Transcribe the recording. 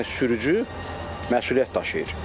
Yəni sürücü məsuliyyət daşıyır.